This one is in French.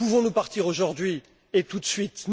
Pouvons nous partir aujourd'hui, tout de suite?